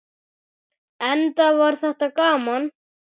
Enda var þetta gaman.